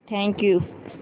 thank you